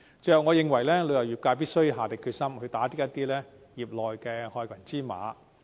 最後，我認為旅遊業界必須下定決心，打擊業內一些害群之馬。